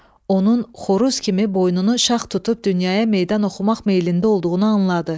Onun xoruz kimi boynunu şax tutub dünyaya meydan oxumaq meylində olduğunu anladı.